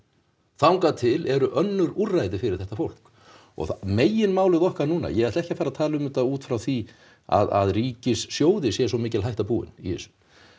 þangað til eru önnur úrræði fyrir þetta fólk og meginmálið okkar núna ég ætla ekki að fara að tala um þetta út frá því að ríkissjóði sé svo mikil hætta búin í þessu